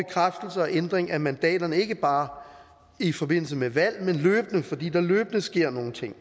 ændring af mandaterne ikke bare i forbindelse med valg men løbende fordi der løbende sker nogle ting